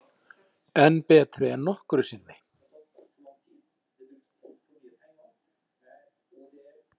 Enn betri en nokkru sinni